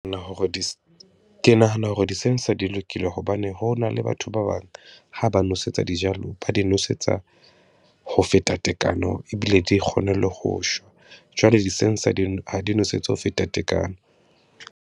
Hore di ke nahana hore di-sensor di lokile, hobane ho na le batho ba bang ha ba nosetsa dijalo, ba di nosetsa ho feta tekano ebile di kgone le ho shwa. Jwale di-sensor di, ha di nwesetsa ho feta tekano.